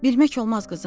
Bilmək olmaz qızım.